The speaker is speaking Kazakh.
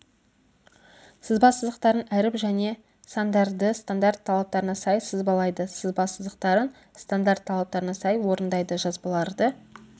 сызба сызықтарын әріп және сандарды стандарт талаптарына сай сызбалайды сызба сызықтарын стандарт талаптарына сай орындайды жазбаларды